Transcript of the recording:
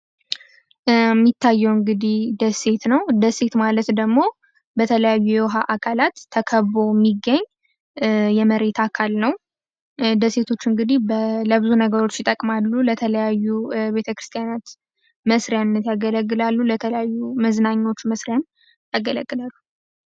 ሚታየው እንግዲህ ደሴት ነው። ደሴት ማለት ደግሞ በተለያዩ የውሃ አካላት ተከቦ የሚገኝ የመሬት አካል ነው። ደሴቶ እንግዲህ ለብዙ ነገሮች ይጠቅማሉ ለተለያዩ ቤተክርስቲያናት መስሪያ ለተለያዩ መዝናኛዎች መስሪያ ያገለግላሉ።